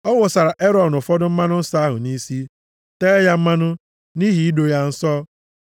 Ọ wụsara Erọn ụfọdụ mmanụ nsọ ahụ nʼisi, tee ya mmanụ, nʼihi ido ya nsọ.